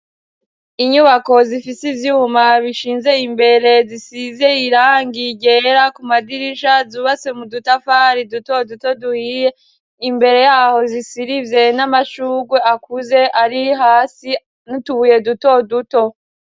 Inyubako zifise ivyuma bishinze imbere zisizey irangiye igera ku madirisha zubase mu dutafari dutoduto duhiye imbere yaho zisirivye n'amashurwe akuze ari hasi nutubuye duto duto.